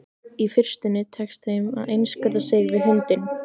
Í fyrstunni tekst þeim að einskorða sig við hundinn.